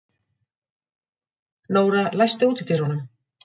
Nóra, læstu útidyrunum.